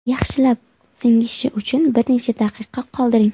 Yaxshilab singishi uchun bir necha daqiqa qoldiring.